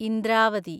Indravati